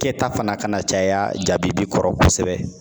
Kɛta fana ka na caya jabibi kɔrɔ kosɛbɛ